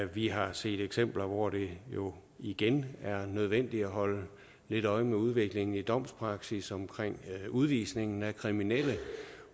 vi har set eksempler hvor det jo igen er nødvendigt at holde lidt øje med udviklingen i domspraksis omkring udvisningen af kriminelle